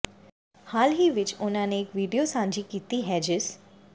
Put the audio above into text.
ਹਾਲ ਹੀ ਵਿੱਚ ਉਹਨਾਂ ਨੇ ਇੱਕ ਵੀਡੀਓ ਸਾਂਝੀ ਕੀਤੀ ਹੈ ਜਿਸ